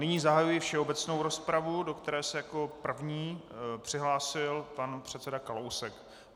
Nyní zahajuji všeobecnou rozpravu, do které se jako první přihlásil pan předseda Kalousek.